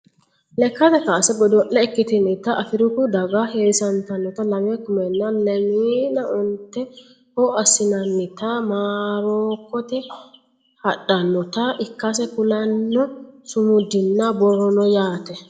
Lekkate kaase godo'le ikkitinita afiriku daga heewisantannota lame kumenna lemiina onteho assinannita morokkote hadhannota ikkase kulanno sumudinna borro no yaate